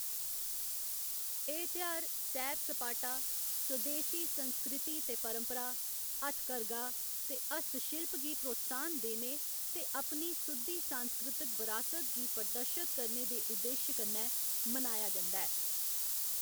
एह्‌‌ तेहार सैर सपाटा, स्वदेसी संस्कृति ते परंपरा, हथकरघा ते हस्तशिल्प गी प्रोत्साहन देने ते अपनी सुद्धी सांस्कृतक बरासत गी प्रदर्शित करने दे उद्देश कन्नै मनाया जंदा ऐ।